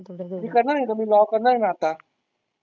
मी करणारे आता मी लॉ करणारे मी आता.